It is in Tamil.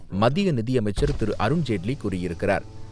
மத்திய நிதியமைச்சர் திரு. அருண்ஜேட்லி கூறியிருக்கிறார்.